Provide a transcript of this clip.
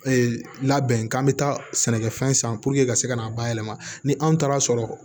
labɛn k'an bɛ taa sɛnɛkɛfɛn san puruke ka se ka na bayɛlɛma ni anw taara sɔrɔ